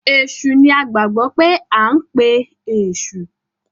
Èsù ní a gbagbọ pe ankpe eṣu.